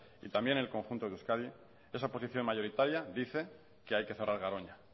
y también en el conjunto de euskadi esa oposición mayoritaria dice que hay que cerrar garoña